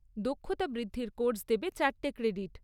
দক্ষতা বৃদ্ধির কোর্স দেবে চারটে ক্রেডিট।